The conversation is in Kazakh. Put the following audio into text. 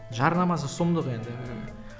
жарнамасы сұмдық енді